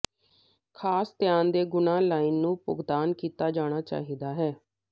ਖਾਸ ਧਿਆਨ ਦੇ ਗੁਣਾ ਲਾਈਨ ਨੂੰ ਭੁਗਤਾਨ ਕੀਤਾ ਜਾਣਾ ਚਾਹੀਦਾ ਹੈ